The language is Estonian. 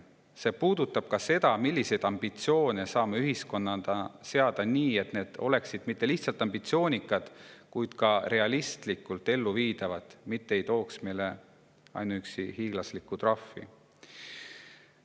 See puudutab ka seda, milliseid ambitsioone saame ühiskonnana seada nii, et need oleksid mitte lihtsalt ambitsioonikad, vaid ka realistlikult elluviidavad, mitte ei tooks meile ainuüksi hiiglaslikke trahve.